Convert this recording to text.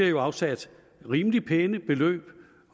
jo afsat rimelig pæne beløb